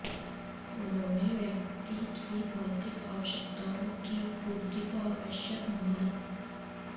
उन्होंने व्यक्ति की भौतिक आवश्यकताओं की पूर्ति को आवश्यक माना